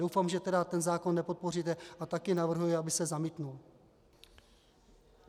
Doufám, že ten zákon nepodpoříte a taky navrhuji, aby se zamítl.